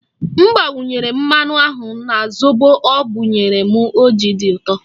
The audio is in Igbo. M gbakwunyere mmanụ aṅụ na zobo ọ bụ ya mere o ji dị ụtọ